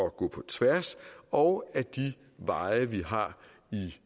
at gå på tværs og at de veje vi har i